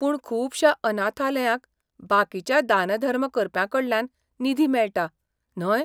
पूण खूबश्या अनाथालयांक बाकीच्या दानधर्म करप्यांकडल्यान निधी मेळटा, न्हय?